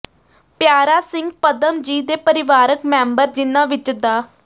ਪਿਆਰਾ ਸਿੰਘ ਪਦਮ ਜੀ ਦੇ ਪਰਿਵਾਰਕ ਮੈਂਬਰ ਜਿਨ੍ਹਾਂ ਵਿੱਚ ਡਾ